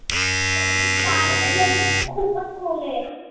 मी पण खूपच खोल आहे.